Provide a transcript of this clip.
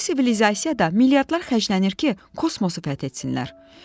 Bu sivilizasiya da milyardlar xərclənir ki, kosmosu fəth etsinlər.